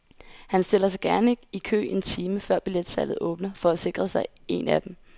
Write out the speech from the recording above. Han stiller sig gerne i kø en time før billetsalget åbner for at sikre sig en af dem.